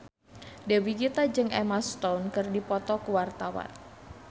Dewi Gita jeung Emma Stone keur dipoto ku wartawan